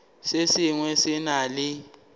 se sengwe se na le